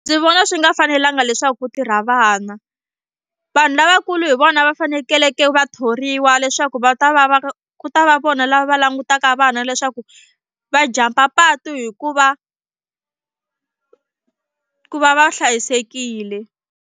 Ndzi vona swi nga fanelanga leswaku ku tirha vana vanhu lavakulu hi vona va fanekeleke va thoriwa leswaku va ta va va ku ta va vona lava va langutaka vana leswaku va jump-a patu hi ku va ku va va hlayisekile.